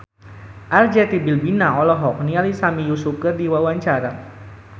Arzetti Bilbina olohok ningali Sami Yusuf keur diwawancara